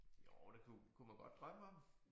Jo det kunne kunne man godt drømme om